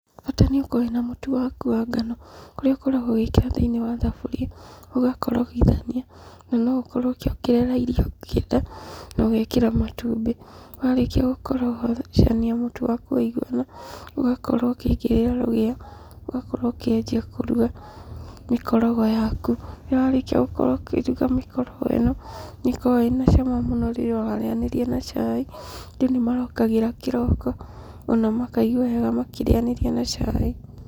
Bata nĩũkorwo wĩna mũtu waku wa ngano. Kũrĩa ũkoragwo ũgĩkĩra thĩinĩ wa thaburi, ũgakorogithania, na ũkorwo ũkĩongerera iria ũngĩenda na ũgekĩra matumbĩ. Warĩkia gũkorocania mũtu waku waiguana, ũgakorwo ũkĩigĩrĩra rũgĩo, ũgakorwo ũkĩanjia kũruga mĩkorogo yaku. Rĩrĩa warĩkia gũkorwo ũkĩruga mĩkorogo ĩno , nĩkoragwo ĩna cama mũno rĩrĩa ũrarĩanĩria na chai, andũ nĩmarokagĩra kĩroko ona makaigua wega makĩrĩanĩria na chai.